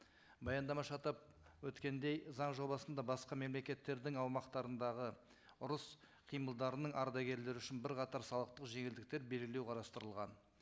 баяндамашы атап өткендей заң жобасында басқа мемлекеттердің аумақтарындағы ұрыс қимылдарының ардагерлері үшін бірқатар салықтық жеңілдіктер белгілеу қарастырылған